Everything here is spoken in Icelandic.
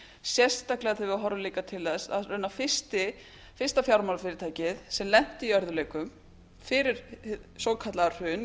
sérstaklega þegar við horfum líka til þess að raunar fyrsta fjármálafyrirtækið sem lenti í örðugleikum fyrir hið svokallaða hrun í